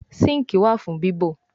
sinkii wá fún bibọ.